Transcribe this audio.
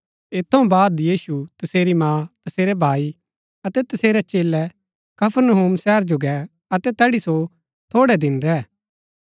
ऐत थऊँ बाद यीशु तसेरी माँ तसेरै भाई अतै तसेरै चेलै कफरनहूम शहर जो गै अतै तैड़ी सो थोड़ै दिन रैह